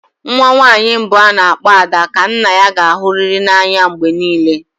Nwa nwanyị mbụ a na-akpọ "Ada" ka nna ya ga-ahụrịrị n'anya mgbe niile